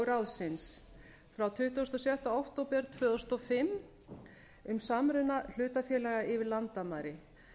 ráðsins frá tuttugasta og sjötta október tvö þúsund og fimm um samruna hlutafélaga yfir landamæri